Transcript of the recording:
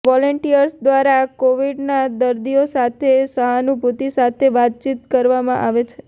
volunteers દ્વારા કોવિડના દર્દીઓ સાથે સહાનુભુતિ સાથે વાતચીત કરવામાં આવે છે